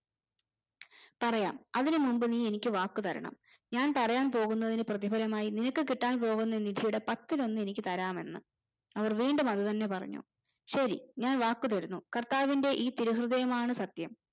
പറയാം അതിന് മുമ്പ് നീ എനിക്ക് വാക്കു തരണം ഞാൻ പറയാൻ പോകുന്നതിന്റെ പ്രതിഫലമായി നിനക്ക് കിട്ടാൻ പോകുന്ന നിധിയുടെ പത്തിലൊന്നു എനിക്ക് തരാമെന്ന് അവർ വീണ്ടുമതന്നെ പറഞ്ഞു ശെരി ഞാൻ വാക്ക് തരുന്നു കർത്താവിന്റെ ഈ തിരു ഹൃദയമാണ് സത്യം